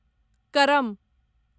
करम